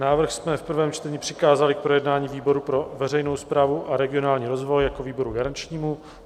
Návrh jsme v prvém čtení přikázali k projednání výboru pro veřejnou správu a regionální rozvoj jako výboru garančnímu.